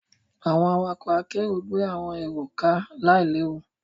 Àwọn awakọ̀ àkerọ gbé àwọn èrò ká láì léwu.